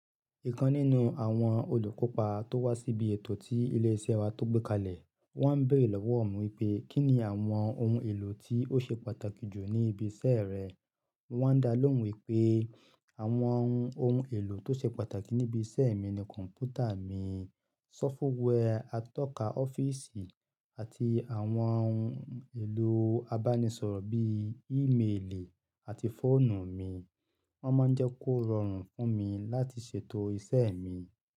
Ìkan nínú àwọn olùkópa tó wá síbi ètò tí ilé iṣẹ́ wa tó gbé kalẹ̀, wọ́n bèrè lọ́wọ́ mi wípé, Kí ni àwọn ohun èlò tí ó ṣe pàtàkì jù ní ibi iṣẹ́ rẹ? Wọ́n dá lóhùn wípé àwọn ohun èlò tó ṣe pàtàkì níbi iṣẹ́ mi ni kọ̀npútà mi, sọ́fúwẹ́ àtọ́ka ọ́fíìsì àti àwọn ohun èlò abánisọ̀rọ̀ bí i ìméèlì àti fóònù mi. Wọ́n máa ń jẹ́ kó rọrùn fún mi láti ṣètò iṣẹ́ mi.